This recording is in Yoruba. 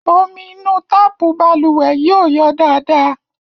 Omi inú táàpù balùwẹ̀ yìí ò yọ dáadáa.